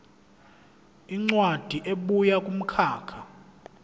incwadi ebuya kumkhakha